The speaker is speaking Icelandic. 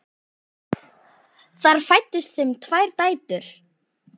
Þar fæddust þeim tvær dætur.